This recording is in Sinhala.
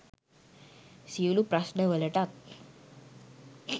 සියලු ප්‍රශ්ණවලටත්